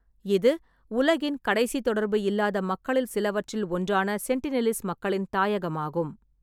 இது உலகின் கடைசி தொடர்பு இல்லாத மக்களில் சிலவற்றில் ஒன்றான சென்டினெலிஸ் மக்களின் தாயகமாகும்.